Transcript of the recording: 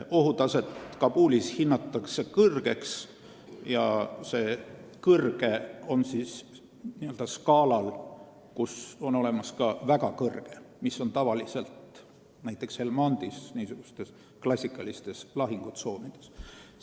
Ohutaset Kabulis hinnatakse kõrgeks ja see on kõrge sellisel skaalal, kus on olemas ka väga kõrge, mis on tavaliselt näiteks Helmandis ja teistes klassikalistes lahingutsoonides.